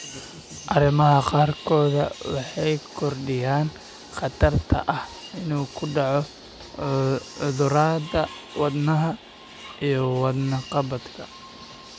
Arrimaha qaarkood waxay kordhiyaan khatarta ah inuu ku dhaco cudurrada wadnaha iyo wadne qabadka.